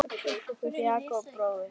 Jakob bróðir.